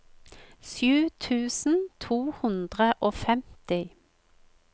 sju tusen to hundre og femti